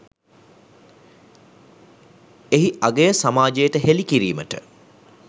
එහි අගය සමාජයට හෙළි කිරීමට